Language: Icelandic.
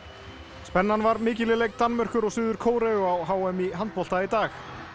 spennan var mikil í leik Danmerkur og Suður Kóreu á h m í handbolta í dag